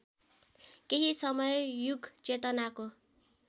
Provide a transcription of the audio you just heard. केही समय युगचेतनाको